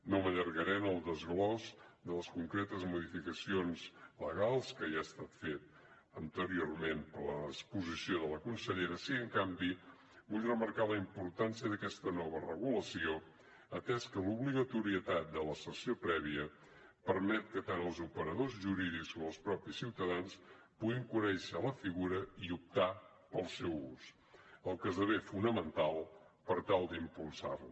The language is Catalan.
no m’allargaré en el desglossament de les concretes modificacions legals que ja ha estat fet anteriorment per l’exposició de la consellera sí que en canvi vull remarcar la importància d’aquesta nova regulació atès que l’obligatorietat de la sessió prèvia permet que tant els operadors jurídics com els mateixos ciutadans puguin conèixer la figura i optar pel seu ús cosa que esdevé fonamental per tal d’impulsar la